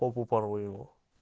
попу порву его